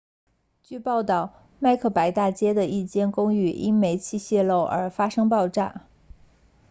据报道麦克白大街 macbeth street 的一间公寓因煤气泄漏而发生爆炸